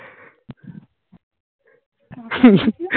কাকার video